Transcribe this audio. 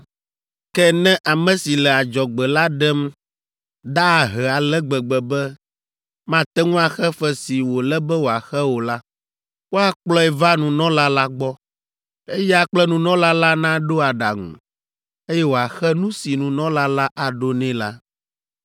Ke ne ame si le adzɔgbe la ɖem da ahe ale gbegbe be mate ŋu axe fe si wòle be wòaxe o la, woakplɔe va nunɔla la gbɔ, eya kple nunɔla la naɖo aɖaŋu, eye wòaxe nu si nunɔla la aɖo nɛ la.